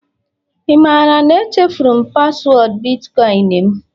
ị maara na echefuru m paswọọdụ bitkọịn m?